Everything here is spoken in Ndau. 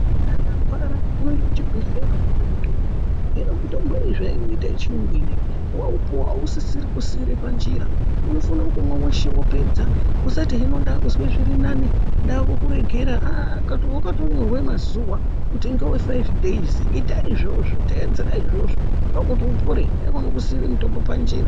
Munthu akarwara, unoende kuchibhedhlera opuwe mutombo, hino mitombo iyi zveinoita yechiyungu ineyi, waupuwa ausisiri kusiira panjira, unofana kumwa weshe wopedza ,usati hino ndaakuzwe zviri nani ,ndaakukuregera kuti wakatonyorwa nazuwa kuti ngewe faifi dheizi, ita izvozvo ndiko kuti upore, haikhona kusiira mutombo panjira.